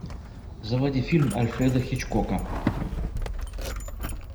заводи фильм альфреда хичкока